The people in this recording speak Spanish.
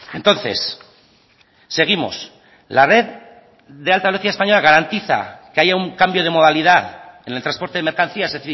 entonces seguimos la red de alta velocidad española garantiza que haya un cambio de modalidad en el transporte de mercancías es